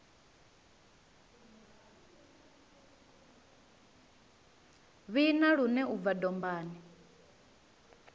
vhina lune u bva dombani